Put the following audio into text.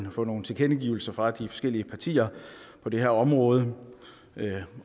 at få nogle tilkendegivelser fra de forskellige partier på det her område